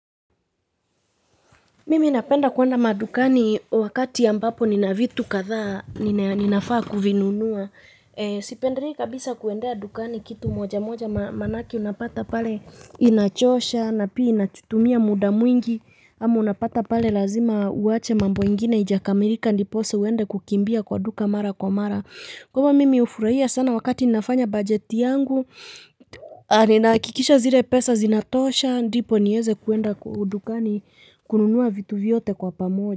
Mimi napenda kwenda madukani wakati ambapo nina vitu kadhaa ninafaa kuvinunua. Sipenderii kabisa kuendea dukani kitu moja moja manake unapata pale inachosha na pia inachutumia muda mwingi ama unapata pale lazima uwache mambo ingine ijakamirika ndipose uende kukimbia kwa duka mara kwa mara. Kwa hivo mimi ufuraia sana wakati ninafanya bajeti yangu nahakikisha zire pesa zinatosha ndipo nieze kuenda kudukani kununuwa vitu vyote kwa pamoja.